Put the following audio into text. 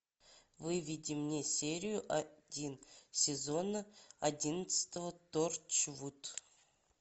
выведи мне серию один сезона одиннадцатого торчвуд